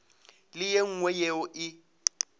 le ye nngwe yeo e